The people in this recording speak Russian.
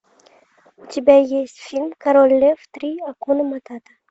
у тебя есть фильм король лев три акуна матата